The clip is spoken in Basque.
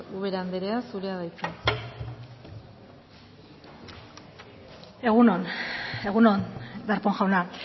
ubera anderea zurea da hitza egun on egun on darpón jauna